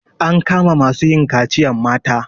An kama masu yin kaciyan mata.